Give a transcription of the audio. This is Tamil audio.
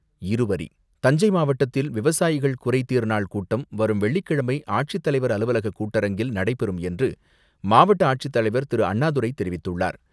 இருவரி தஞ்சை மாவட்டத்தில் விவசாயிகள் குறைதீர்நாள் கூட்டம் வரும் வெள்ளிக்கிழமை ஆட்சித்தலைவர் அலுவலக கூட்டரங்கில் நடைபெறும் என்று, மாவட்ட ஆட்சித்தலைவர் திரு.அண்ணாதுரை தெரிவித்துள்ளார்.